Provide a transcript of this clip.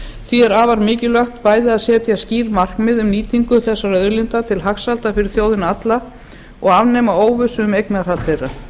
því er afar mikilvægt bæði að setja skýr markmið um nýtingu þessara auðlinda til hagsældar fyrir þjóðina alla og afnema óvissu um eignarhald þeirra